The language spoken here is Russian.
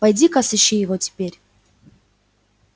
пойди ка сыщи его теперь